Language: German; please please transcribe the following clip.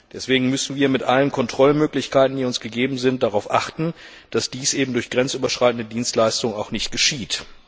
Deswegen müssen wir mit allen Kontrollmöglichkeiten, die uns gegeben sind, darauf achten, dass dies eben durch grenzüberschreitende Dienstleistungen auch nicht geschieht.